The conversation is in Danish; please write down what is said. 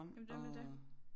Men det nemlig det